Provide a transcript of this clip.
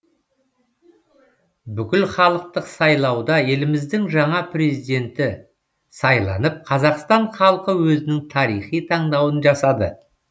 бүкілхалықтық сайлауда еліміздің жаңа президенті сайланып қазақстан халқы өзінің тарихи таңдауын жасады